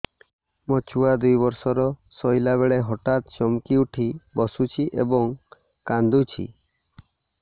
ମୋ ଛୁଆ ଦୁଇ ବର୍ଷର ଶୋଇଲା ବେଳେ ହଠାତ୍ ଚମକି ଉଠି ବସୁଛି ଏବଂ କାଂଦୁଛି